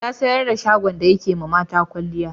Ya sayar da shagon da yake yiwa mata kwalliya.